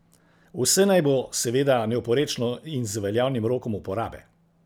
Vse naj bo seveda neoporečno in z veljavnim rokom uporabe.